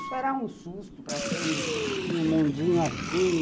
Isso era um susto para quem tinha um mundinho assim.